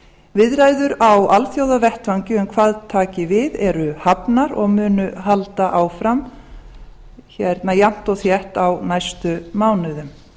viðræður á alþjóðavettvangi um hvað taki við eru hafnar og munu halda áfram jafnt og þétt á næstu mánuðum